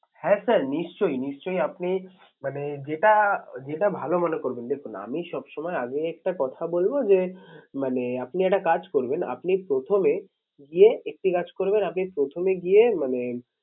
হ্যাঁ sir নিশ্চই, নিশ্চই আপনি মানে যেটা, যেটা ভালো মনে করবেন দেখুন আমি সব সময় আগে একটা কথা যে মানে আপনি একটা কাজ করবেন আপনি প্রথমে গিয়ে একটি কাজ করবেন আপনি প্রথমে গিয়ে মানে